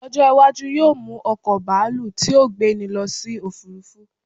ọjọ iwaju yíò mu oko baalu ti o gbeni lo sí òfurufú